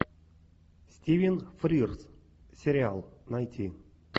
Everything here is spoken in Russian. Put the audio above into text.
стивен фрирз сериал найти